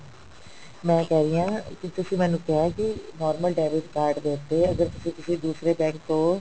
ਮੈਂ ਇਹ ਕਿਹ ਰਹੀ ਕਿ ਤੁਸੀਂ ਮੈਂਨੂੰ ਕਿਹਾ ਕਿ normal debit card ਦੇ ਉੱਤੇ ਅਗਰ ਤੁਸੀਂ ਕਿਸੀ ਦੂਸਰੇ bank ਤੋਂ